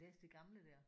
Læse de gamle der?